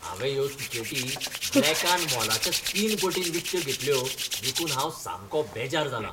हांवें ह्यो तिकेटी ब्लॅकान मोलाच्या तीन पटीन विकत्यो घेतल्यो देखून हांव सामको बेजार जालां.